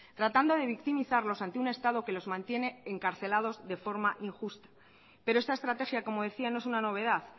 tratando de victimizarlos ante un estado que los mantiene encarcelados de forma injusta pero esta estrategia como decía no es una novedad